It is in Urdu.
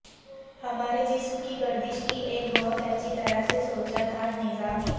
ہمارے جسم کی گردش کی ایک بہت اچھی طرح سے سوچا تھا نظام ہے